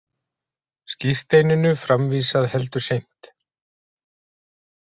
Skírteininu framvísað heldur seint